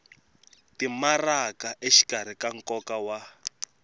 timaraka exikarhi ka nkoka wa